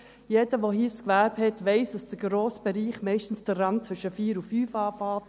Jeder, der hier ein Gewerbe hat, weiss, dass der grosse Bereich meist vor allem zwischen 16 und 17 Uhr beginnt.